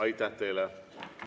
Aitäh teile!